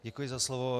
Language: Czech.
Děkuji za slovo.